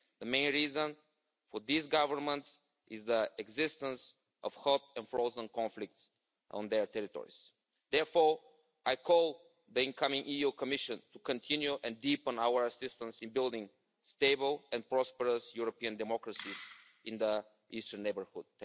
The main reason for these governments is the existence of hot and frozen conflicts on their territories. Therefore I call on the incoming Commission to continue and deepen our assistance in building stable and prosperous European democracies in the Eastern neighbourhood.